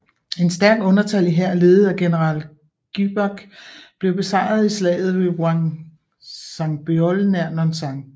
Et stærkt undertallig hær ledet af general Gyebaek blev besejret i slaget ved Hwangsanbeol nær Nonsan